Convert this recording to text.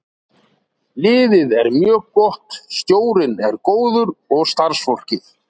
Liðið er mjög gott, stjórinn er góður og starfsfólkið.